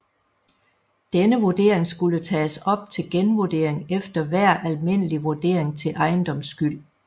Denne vurdering skulle tages op til genvurdering efter hver almindelig vurdering til ejendomsskyld